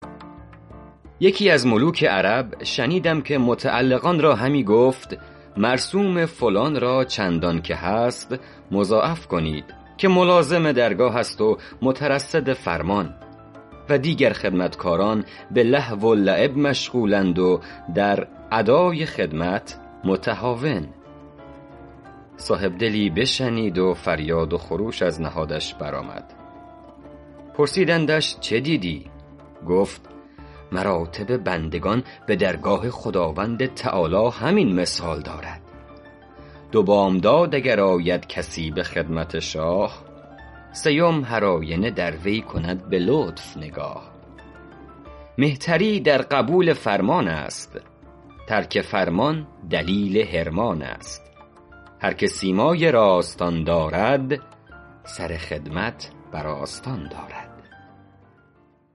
یکی از ملوک عرب شنیدم که متعلقان را همی گفت مرسوم فلان را چندان که هست مضاعف کنید که ملازم درگاه است و مترصد فرمان و دیگر خدمتکاران به لهو و لعب مشغول اند و در ادای خدمت متهاون صاحب دلی بشنید و فریاد و خروش از نهادش بر آمد پرسیدندش چه دیدی گفت مراتب بندگان به درگاه خداوند تعالیٰ همین مثال دارد دو بامداد اگر آید کسی به خدمت شاه سیم هرآینه در وی کند به لطف نگاه مهتری در قبول فرمان است ترک فرمان دلیل حرمان است هر که سیمای راستان دارد سر خدمت بر آستان دارد